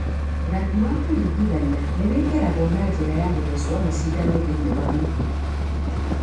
Rangi wa kũringithania nĩ wĩkĩragwo na njĩra ya gũthecwo na cindano thĩinĩ wa mĩkiha.